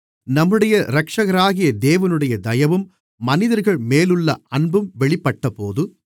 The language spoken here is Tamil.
நம்முடைய இரட்சகராகிய தேவனுடைய தயவும் மனிதர்கள்மேலுள்ள அன்பும் வெளிப்பட்டபோது